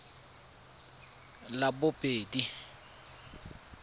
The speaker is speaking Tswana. labobedi